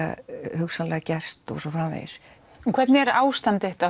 hugsanlega gerst og svo framvegis hvernig er ástand þitt á